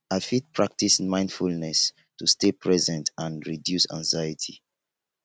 i fit practice mindfulness to stay present and reduce anxiety